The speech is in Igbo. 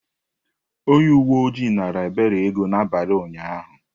Onye uwe ojii naara Ebere ego n’abalị ụnyahụ.